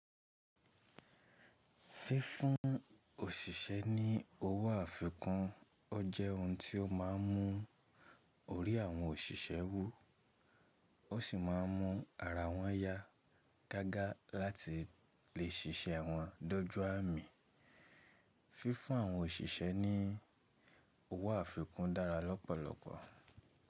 Fífún òṣìṣẹ́ ní owó àfikún ọ jẹ́ ohun tí ó ma ń mú orí àwọn òṣìṣẹ́ wú, ó sì ma ń mú ara wọn yá gágá láti lè ṣiṣẹ́ wọn dọ́jú àmì. Fífún àwọn òṣìṣẹ́ ní owó àfikún dára lọ́pọ̀lọpọ̀.